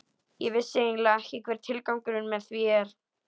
Ég vissi eiginlega ekki hver tilgangurinn með því er.